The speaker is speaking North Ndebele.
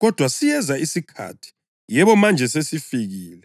Kodwa siyeza isikhathi, yebo manje sesifikile